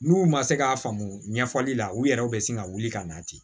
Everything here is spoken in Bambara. N'u ma se k'a faamu ɲɛfɔli la u yɛrɛw bɛ sin ka wuli ka na ten